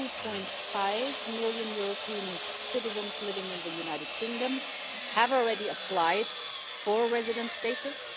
2.5 million European Union citizens living in the United Kingdom have already applied for residence status.